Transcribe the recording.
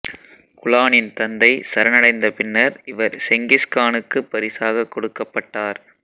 குலானின் தந்தை சரணடைந்த பின்னர் இவர் செங்கிஸ் கானுக்குப் பரிசாகக் கொடுக்கப்பட்டார்